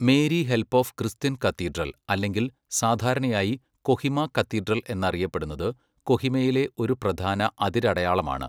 Mary help of Christian cathedral അല്ലെങ്കിൽ സാധാരണയായി Kohima cathedral എന്നറിയപ്പെടുന്നത്, കൊഹിമയിലെ ഒരു പ്രധാന അതിരടയാളമാണ് .